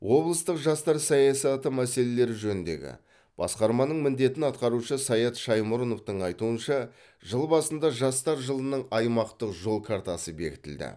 облыстық жастар саясаты мәселелері жөніндегі басқарманың міндетін атқарушы саят шаймұрыновтың айтуынша жыл басында жастар жылының аймақтық жол картасы бекітілді